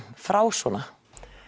frá svona